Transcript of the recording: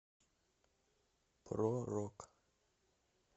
про рок